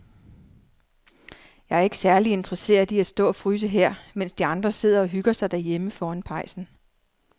Jeg er ikke særlig interesseret i at stå og fryse her, mens de andre sidder og hygger sig derhjemme foran pejsen.